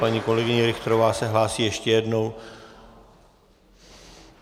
Paní kolegyně Richterová se hlásí ještě jednou.